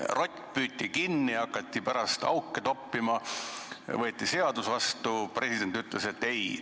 Rott püüti kinni, hakati pärast auke toppima, võeti seadus vastu, president ütles, et ei.